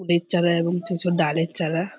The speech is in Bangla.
বীজ চারা এবং কিছু ডালের চারা।